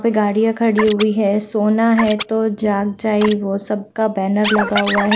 पे गाड़ियां खड़ी हुई है सोना है तो जाग जाए वो सबका बैनर लगा हुआ है।